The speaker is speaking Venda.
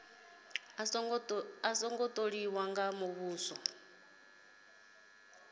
a songo tholiwa nga muvhuso